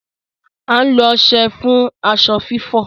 À n lo ọṣẹ fun aṣọ fifọ